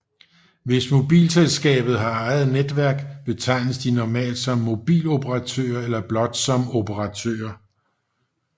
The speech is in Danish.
Hvis mobilselskabet har eget netværk betegnes de normalt som mobiloperatører eller blot som operatører